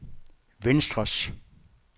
venstres